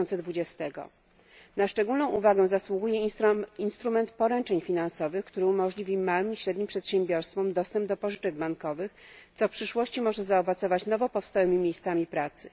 2020. Na szczególną uwagę zasługuje instrument poręczeń finansowych, który umożliwi małym i średnim przedsiębiorstwom dostęp do pożyczek bankowych, co w przyszłości może zaowocować nowo powstałymi miejscami pracy.